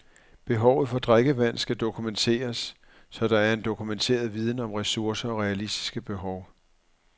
Behovet for drikkevand skal dokumenteres, så der er en dokumenteret viden om ressourcer og realistiske behov.